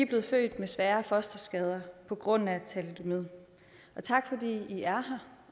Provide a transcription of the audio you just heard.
blevet født med svære fosterskader på grund af thalidomid og tak fordi i er her